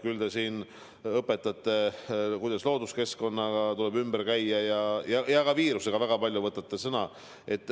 Küll te seal õpetate, kuidas looduskeskkonnaga tuleb ümber käia, ja ka viiruse teemal väga palju võtate sõna.